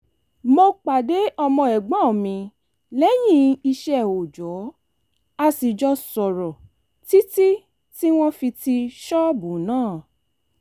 mo pàdé ọmọ ẹ̀gbọ́n mi lẹ́yìn iṣẹ́ òòjò a sì jọ sọ̀rọ̀ títí tí wọ́n fi ti ṣọ́ọ̀bù náà